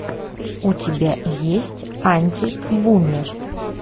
у тебя есть антибумер